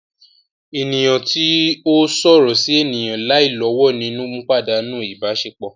Eniyan ti o sọrọ si eniyan lai lowo ninu padanu ibasepo